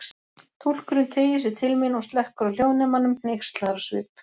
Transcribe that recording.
Túlkurinn teygir sig til mín og slekkur á hljóðnemanum, hneykslaður á svip.